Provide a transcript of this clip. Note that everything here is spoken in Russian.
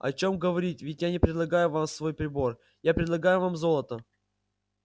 о чем говорить ведь я не предлагаю вам свой прибор я предлагаю вам золото